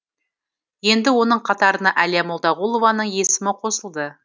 енді оның қатарына әлия молдағұлованың есімі қосылды